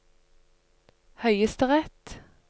høyesterett